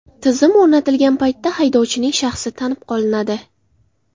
Tizim o‘rnatilgan paytda haydovchining shaxsi tanib qolinadi.